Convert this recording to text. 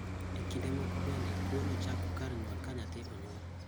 E kinde moko bende tuo no chako kar nyuol ka nyathi onyuol